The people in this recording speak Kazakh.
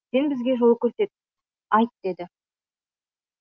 сен бізге жол көрсет айт деді